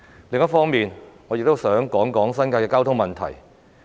另一方面，我亦想談談新界的交通問題。